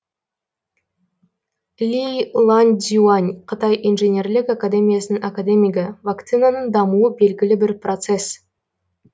ли ланьцзюань қытай инженерлік академиясының академигі вакцинаның дамуы белгілі бір процесс